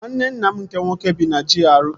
Nwanne nna m nke nwoke bi na GRA